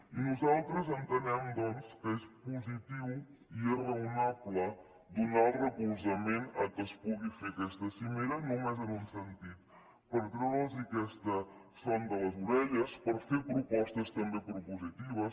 i nosaltres entenem doncs que és positiu i és raonable donar recolzament perquè es pugui fer aquesta cimera només en un sentit per treure’ls aquesta son de les orelles per fer propostes també propositives